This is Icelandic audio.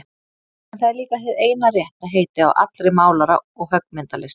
En það er líka hið eina rétta heiti á allri málara- og höggmyndalist.